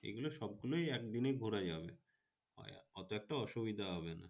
এইগুলো সবগুলোই একদিনে ঘোরা যাবে। হয়তো একটু অসুবিধা হবে।